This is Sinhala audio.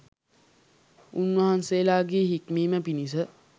උන්වහන්සේලාගේ හික්මීම පිණිස